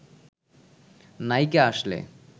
নায়িকা আসলে